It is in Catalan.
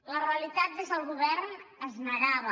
la realitat des del govern es negava